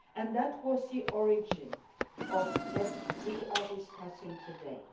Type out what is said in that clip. That was the origin of what we are discussing today.